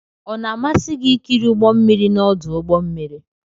Ọ na-amasị gị ikiri ụgbọ mmiri n'ọdụ ụgbọ mmiri?